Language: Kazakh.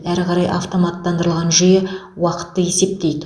әрі қарай автоматтандырылған жүйе уақытты есептейді